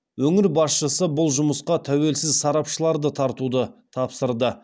өңір басшысы бұл жұмысқа тәуелсіз сарапшыларды тартуды тапсырды